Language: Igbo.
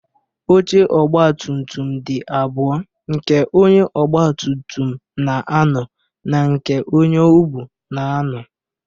Oche ọgbatumtum dị abụọ: nke onye ogbatumtum na-anọ na nke onye o buu na-anọ.